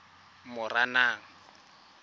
moranang